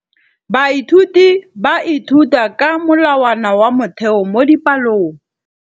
Baithuti ba ithuta ka molawana wa motheo mo dipalong.